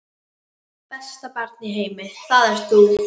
Besta barn í heimi, það ert þú.